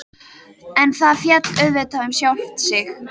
En það féll auðvitað um sjálft sig.